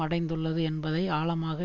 அடைந்துள்ளது என்பதை ஆழமாக